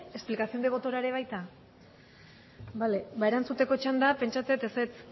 explicación de votora ere baita bale ba erantzuteko txanda pentsatzen dut ezetz